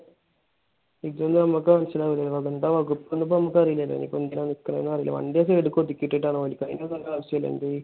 ഇത് നമുക്ക് മനസ്സിലാവൂല. ഇതിന്റെ വകുപ്പ് നമുക്ക് അറിയില്ലല്ലോ. ഇനിയിപ്പോ എന്തിനാണ് നിക്കുന്നതെന്ന് അറിയില്ലാലോ. വണ്ടി ആ side ലേക്ക് ഒതുക്കി ഇട്ടിട്ടാണ് കൈ കാണിക്കുന്നത്.